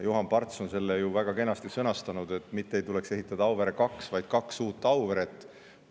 Juhan Parts on selle ju väga kenasti sõnastanud, et mitte ei tuleks ehitada Auvere 2, vaid kaks uut Auvere.